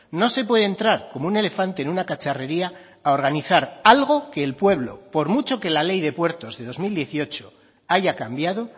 no se puede entrar como un elefante en una cacharrería a organizar algo que el pueblo por mucho que la ley de puertos de dos mil dieciocho haya cambiado